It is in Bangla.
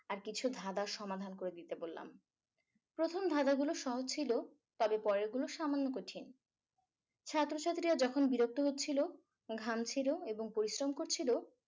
আর কিছু ধাঁধার সমাধান করে দিতে বললাম প্রথম ধাঁধাগুলো সহজ ছিল তবে পরেরগুলো সামান্য কঠিন ছাত্রছাত্রীরা যখন বিরক্ত হচ্ছিলো ঘামছিলো এবং পরিশ্রম করছিলো